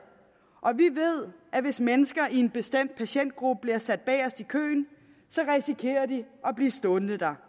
og vi ved at hvis mennesker i en bestemt patientgruppe bliver sat bagest i køen risikerer de at blive stående dér